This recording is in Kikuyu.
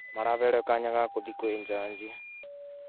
Maraheirwo kaanya ga gũthiĩ kwĩ jaji